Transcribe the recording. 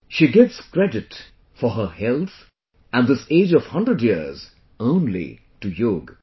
She gives credit for her health and this age of 100 years only to yoga